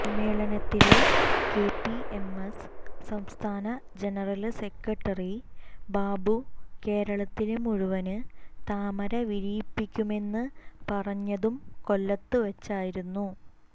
സമ്മേളനത്തില് കെപിഎംഎസ് സംസ്ഥാന general secretary Babu കേരളത്തില് മുഴുവന് താമര വിരിയിപ്പിക്കുമെന്ന് പറഞ്ഞതും കൊല്ലത്ത് വച്ചായിരുന്നു